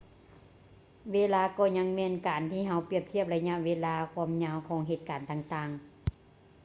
ເວລາກໍຍັງແມ່ນການທີ່ເຮົາປຽບທຽບໄລຍະເວລາ ຄວາມຍາວ ຂອງເຫດການຕ່າງໆ